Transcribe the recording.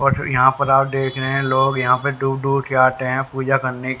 और जो यहां पर आप देख रहे हैं लोग यहां पे दूर दूर से आते हैं पूजा करने--